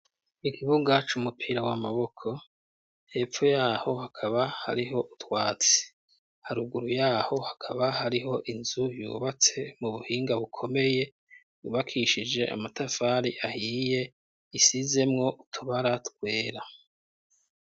Ikibuga c'umupira w'amaboko, hepfo yaho hakaba hariho utwatsi, haruguru yaho hakaba hariho inzu yubatse mu buhinga bukomeye, yubakishije amatafari ahiye, isizemwo utubara twera.